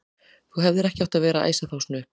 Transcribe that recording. Þú hefðir ekki átt að vera að æsa þá svona upp!